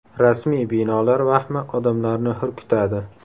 Rasmiy binolar vahmi odamlarni hurkitadi.